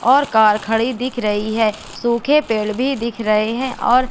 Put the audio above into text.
और कार खड़ी दिख रही है सूखे पेड़ भी दिख रहे हैं और--